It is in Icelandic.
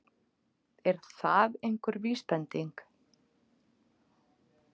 Er það einhver vísbending?